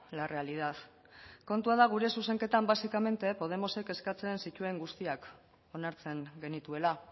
la realidad kontua da gure zuzenketan básicamente podemosek eskatzen zituen guztiak onartzen genituela